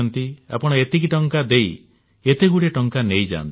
ଆପଣ ଏତିକି ଟଙ୍କା ଦେଇ ଏତେଗୁଡିଏ ଟଙ୍କା ନେଇଯାଆନ୍ତୁ